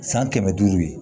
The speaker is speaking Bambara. San kɛmɛ duuru ye